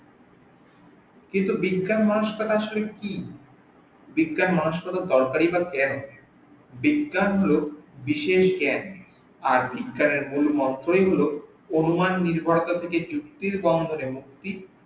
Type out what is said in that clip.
কিন্তু বিজ্ঞান মনস্কতা আসলে কি, বিজ্ঞান মনস্কতার দরকারি বা কেন, বিজ্ঞান হল বিশেষ জ্ঞান আর বিজ্ঞান এর মুল মন্ত্রই হল অনুমান নির্বাচিত কোন যুক্তির বা কোন মুক্তির